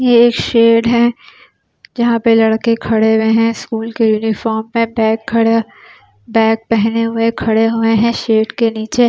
ये शेड है जहाँ पे लड़के खड़े हुए है स्कूल के यूनिफार्म में बैग खड़ा बैग पहने हुए खड़े हुए है शेड के नीचे और --